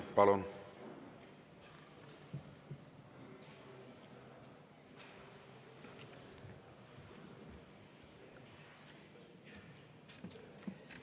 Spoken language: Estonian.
Palun!